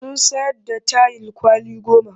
Sun sayar da tayil kwali goma